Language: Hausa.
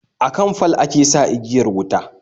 Akan fal ake sa igiyar wuta